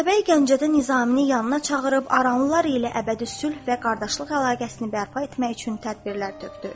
Atabəy Gəncədə Nizaminin yanına çağırıb aranlılar ilə əbədi sülh və qardaşlıq əlaqəsini bərpa etmək üçün tədbirlər tökdü.